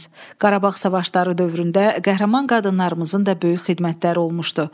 Qarabağ savaşları dövründə qəhrəman qadınlarımızın da böyük xidmətləri olmuşdu.